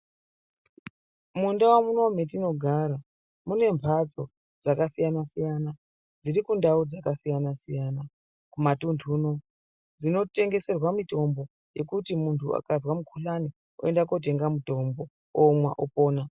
Mundau munomu mune mhatso dzakasiyana siyana dziri kundau dzakasiyana siyana kumatundu uno dzinotengeserwa mitombo dzekuti muntu akazwa mukhuhlani oenda kunotenga mitombo omwa opona.